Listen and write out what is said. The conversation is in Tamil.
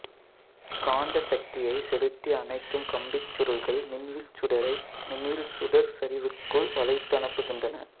காந்த சக்தியைச் செலுத்தி அணைக்கும் கம்பிச்சுருள்கள் மின்வில் சுடரை மின்வில் சுடர் சரிவிற்குள் வளைத்து அனுப்புகின்றன